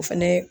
O fɛnɛ